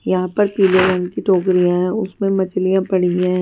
यहां पर पीले रंग की टोकरियां है उसमें मछलियां पड़ी हुई है।